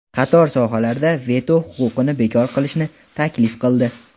qator sohalarda veto huquqini bekor qilishni taklif qildi.